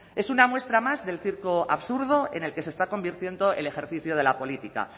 es una muestra más del circo absurdo en el que se está convirtiendo el ejercicio de la política